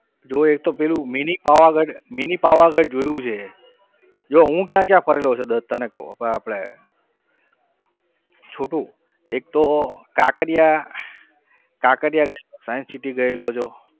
જો એક તો પેલું mini પાવાગઢ mini પાવાગઢ જોયું છે જો હું ક્યાં ક્યાં ફરેલો છું દત્ત તને કહું આપણે છોટુ એક તો કાંકરિયા કાંકરિયા ગયેલો science city ગયેલો છું.